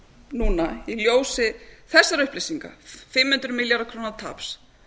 núna í ljósi þessara upplýsinga fimm hundruð milljarða króna taps